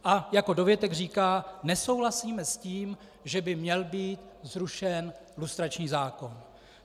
A jako dovětek říká: nesouhlasíme s tím, že by měl být zrušen lustrační zákon.